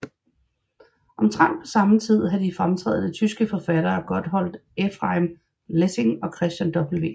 Omtrent på samme tid havde de fremtrædende tyske forfattere Gotthold Ephraim Lessing og Christian W